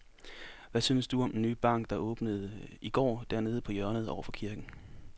Hvad synes du om den nye bank, der åbnede i går dernede på hjørnet over for kirken?